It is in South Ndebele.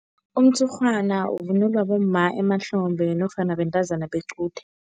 Umtshurhwana uvunulwa bomma emahlombe nofana bentazana bequde.